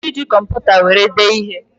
Ị nwere ike iji kọmputa were dee ihe